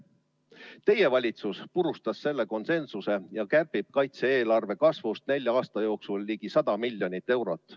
Teie valitsus purustas selle konsensuse ja kärbib kaitse-eelarve kasvust nelja aasta jooksul ligi 100 miljonit eurot.